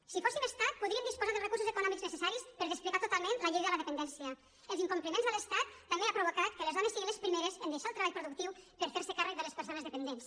si fóssim estat podríem disposar dels recursos econòmics necessaris per desplegar totalment la llei de la dependència els incompliments de l’estat també han provocat que les dones siguin les primeres a deixar el treball productiu per ferse càrrec de les persones dependents